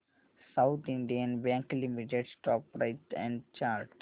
south Indian bank limited stock price and chart